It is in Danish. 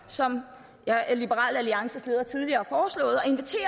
som liberal alliances leder tidligere